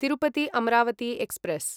Tirupati Amaravati express